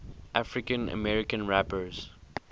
african american rappers